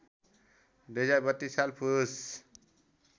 २०३२ साल पुस